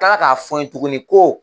k'a fɔ n ye tuguni ko.